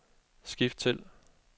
skift til